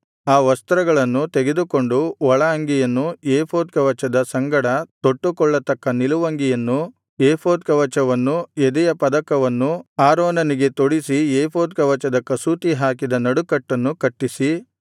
ಆ ವಸ್ತ್ರಗಳನ್ನು ತೆಗೆದುಕೊಂಡು ಒಳ ಅಂಗಿಯನ್ನು ಏಫೋದ್ ಕವಚದ ಸಂಗಡ ತೊಟ್ಟುಕೊಳ್ಳತಕ್ಕ ನಿಲುವಂಗಿಯನ್ನೂ ಏಫೋದ್ ಕವಚವನ್ನು ಎದೆಯ ಪದಕವನ್ನೂ ಆರೋನನಿಗೆ ತೊಡಿಸಿ ಏಫೋದ್ ಕವಚದ ಕಸೂತಿ ಹಾಕಿದ ನಡುಕಟ್ಟನ್ನು ಕಟ್ಟಿಸಿ